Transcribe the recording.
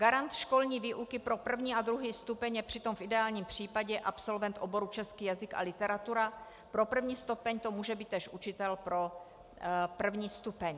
Garant školní výuky pro první a druhý stupeň je přitom v ideálním případě absolvent oboru český jazyk a literatura, pro první stupeň to může být též učitel pro první stupeň.